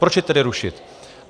Proč je tedy rušit?